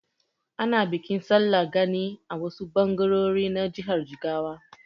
Ana bikin Sallar gani a wasu ɓangarori na jihar Jigawa.